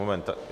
Moment.